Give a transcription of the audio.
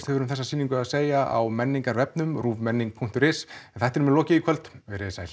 hefur um þessa sýningu að segja á menningarvefnum ruvmenning punktur is en þættinum er lokið í kvöld verið þið sæl